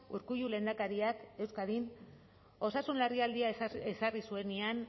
urkullu lehendakariak euskadin osasun larrialdia ezarri zuenean